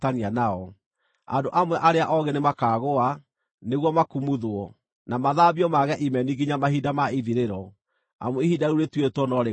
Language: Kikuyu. Andũ amwe arĩa oogĩ nĩmakaagũa, nĩguo makumuthwo, na mathambio mage imeni nginya mahinda ma ithirĩro, amu ihinda rĩu rĩtuĩtwo no rĩgaakinya.